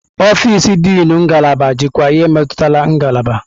Ọfịs Dịnụ ngalaba jikwaa ihe metụtara ngalaba.